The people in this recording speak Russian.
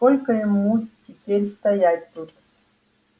и сколько ему теперь стоять тут